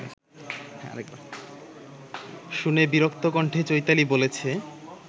শুনে বিরক্ত কণ্ঠে চৈতালি বলেছে